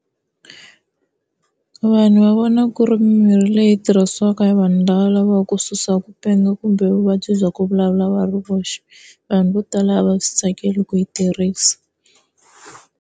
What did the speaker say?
Vanhu va vona ku ri mimirhi leyi tirhisiwaka hi vanhu lava va lavaku ku susa ku penga kumbe vuvabyi bya ku vulavula va ri voxe. Vanhu vo tala a va swi tsakeli ku yi tirhisa.